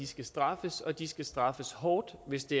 skal straffes og at de skal straffes hårdt hvis de